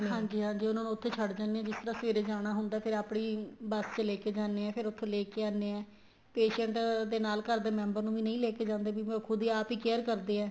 ਹਾਂਜੀ ਹਾਂਜੀ ਉਹਨਾ ਨੂੰ ਉੱਥੇ ਛੱਡ ਜਾਂਦੇ ਏ ਜਿਸ ਤਰ੍ਹਾਂ ਸਵੇਰੇ ਜਾਣਾ ਹੁੰਦਾ ਏ ਫ਼ੇਰ ਆਪਣੀ ਬੱਸ ਚ ਲੈਕੇ ਜਾਣੇ ਏ ਫ਼ੇਰ ਉੱਥੋ ਲੈਕੇ ਆਨੇ ਹੈ patient ਦੇ ਨਾਲ ਘਰ ਦੇ member ਨੂੰ ਵੀ ਨਹੀਂ ਲੈਕੇ ਜਾਂਦੇ ਵੀ ਖੁੱਦ ਹੀ ਆਪ ਹੀ care ਕਰਦੇ ਏ